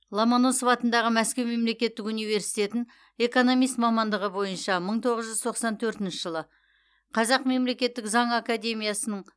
ломоносов атындағы мәскеу мемлекеттік университетін экономист мамандығы бойынша мың тоғыз жүз тоқсан төртінші жылы қазақ мемлекеттік заң академиясын